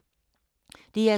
DR2